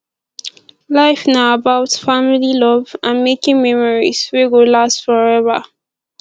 life na about family love and making memories wey go last forever